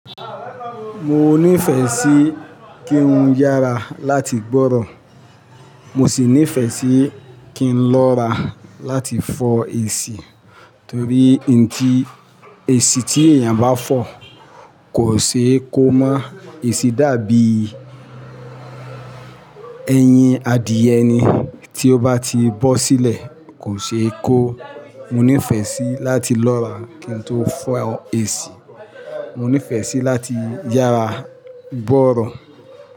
Mo nífẹ̀ẹ́ sí kí n yára láti gbọ́rọ̀. Mo sì nífẹ̀ẹ́ sí kí n lọ́ra láti fọ èsì. Torí ti èsì tí èèyàn bá fọ kò ṣe kó mọ́ èsì dàbí eyín adìẹ ni tí ó bá ti bọ́ sílẹ̀ kò ṣe kó. Mo nífẹ̀ẹ́ sí láti lọ́ra kí n tó fọ èsì. Mo nífẹ̀ẹ́ sí láti yára gbọ́rọ̀